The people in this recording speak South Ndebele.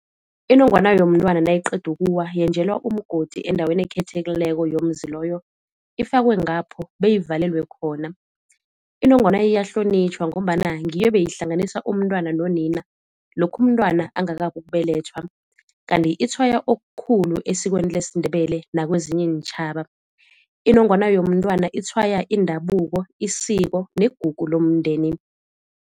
Inongwana yomntwana nayiqeda ukuwa yenjelwa umgodi endaweni ekhethekileko yomuzi loyo, ifakwe ngapho beyivalelwe khona. Inongwana iyahlonitjhwa ngombana ngiyo ebeyihlanganisa umntwana nonina lokha umntwana angakabi ukubelethwa. Kanti itshwaya okukhulu esikweni lesiNdebele nakwezinye iintjhaba. Inongwana yomntwana itshwaya indabuko, isiko negugu lomndeni.